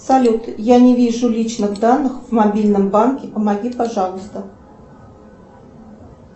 салют я не вижу личных данных в мобильном банке помоги пожалуйста